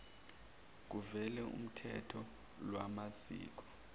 kuvele uthotho lwamazinyo